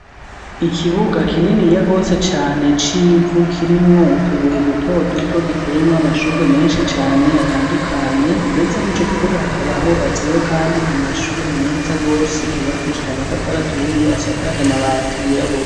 Ikibuga kininiya gose cane civu kirimwo utubuye duto duto giteyemwo amashurwe meshi cane atandukanye ndetse mwico kibuga hakaba hubatseyo kandi amashure meza gose yubakishije amatafari aturiye asakaje amabati y'irabura.